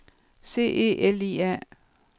C E L I A